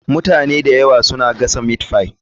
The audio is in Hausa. Mutane da yawa suna gasa meatpie.